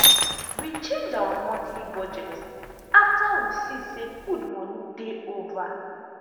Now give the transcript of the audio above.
we change our monthly budget after we see say food money dey over.